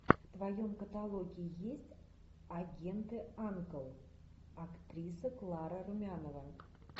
в твоем каталоге есть агенты анкл актриса клара румянова